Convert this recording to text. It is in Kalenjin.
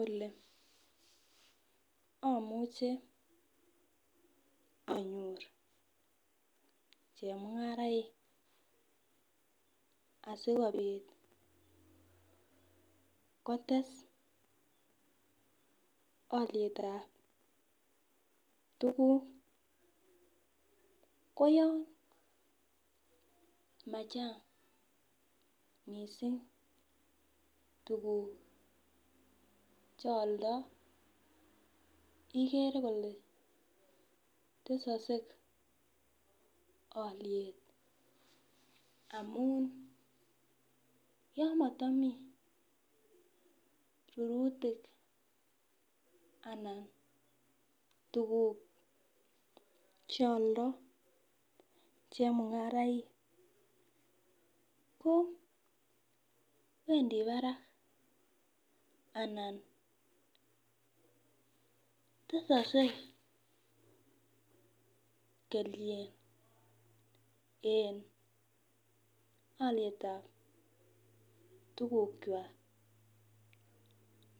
Ole amuche anyor chemungaraek asikobit kotes alyet ab tuguk ko yon machang mising tuguk cheyaldae igere Kole tesakse aliet amun yamatami rururtik anan tuguk cheyaldoi chemungaraik kowendi Barak anan tesakse kelchin en aliet ab tuguk chwag